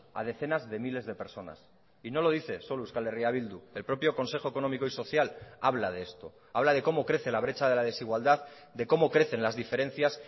a decenas de miles de personas y no lo dice solo euskal herria bildu el propio consejo económico y social habla de esto habla de cómo crece la brecha de la desigualdad de cómo crecen las diferencias